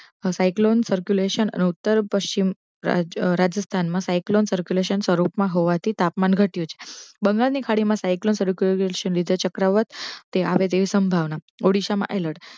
psycholon circulation અને ઉત્તર પશ્ચિમ રાજસ્થાન મા psycholon circulation ના સ્વરૂપ મા હોવાથી તાપમાન ઘટયો છે બંગાળ ની ખાડી મા psycholon circulation વિશે બીજા ચક્રવાત તે શભાવના. ઓડિશા મા અલૅટ